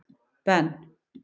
Ben